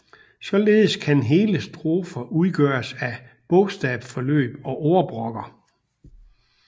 Således kan hele strofer udgøres af bogstavforløb og ordbrokker